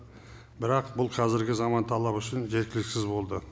бірақ бұл қазіргі заман талабы үшін жеткіліксіз болды